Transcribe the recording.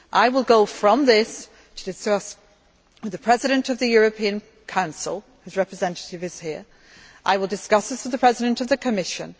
I will go from this to discuss with the President of the European Council whose representative is here and I will discuss this with the President of the Commission.